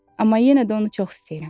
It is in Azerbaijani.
Amma yenə də onu çox istəyirəm.